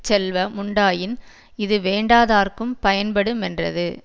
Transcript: செல்வ முண்டாயின் இது வேண்டாதார்க்கும் பயன்படு மென்றது